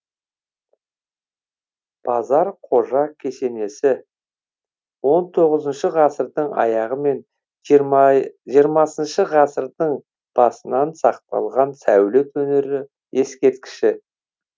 базар қожа кесенесі он тоғызыншы ғасырдың аяғы мен жиырмасыншы ғасырдың басынан сақталған сәулет өнері ескерткіші